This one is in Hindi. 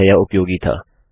उम्मीद है यह उपयोगी था